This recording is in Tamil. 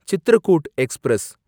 சித்ரகூட் எக்ஸ்பிரஸ்